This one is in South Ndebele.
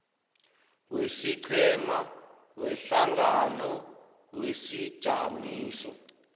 wesiqhema wehlangano wesijamiso